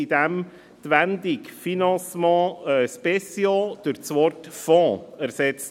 Die Wendung «financements spéciaux» wird durch das Wort «Fonds» ersetzt.